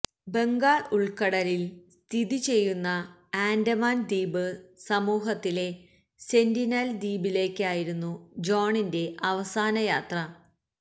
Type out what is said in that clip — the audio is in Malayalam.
ബംഗാള് ഉള്ക്കടലില് സ്ഥിതി ചെയ്യുന്ന ആന്റമാന് ദ്വീപ് സമൂഹത്തിലെ സെന്റിനല് ദ്വീപിലേക്കായിരുന്നു ജോണിന്റെ അവസാന യാത്ര